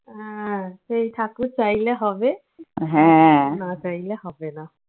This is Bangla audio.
আহ সেই ঠাকুর চাইলে হবে না চাইলে হবে না।